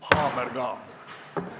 Haamer ka.